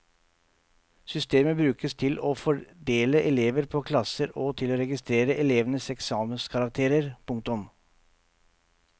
Systemet brukes til å fordele elever på klasser og til å registrere elevenes eksamenskarakterer. punktum